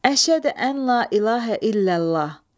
Əşhədü əl-lə ilahə illəllah.